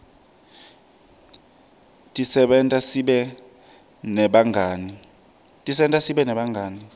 tisenta sibe nebangani